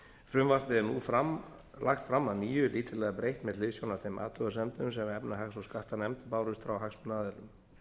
frumvarpið er nú lagt fram að nýju lítillega breytt með hliðsjón af þeim athugasemdum sem efnahags og skattanefnd bárust frá hagsmunaaðilum